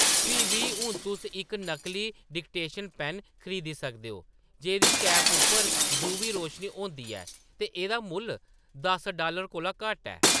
फ्ही बी, हून तुस इक नकली डिटेक्शन पैन्न खरीदी सकदे ओ जेह्‌दी कैप उप्पर यूवी रोशनी होंदी ऐ ते एह्‌‌‌दा मुल्ल दस डालर कोला घट्ट ऐ।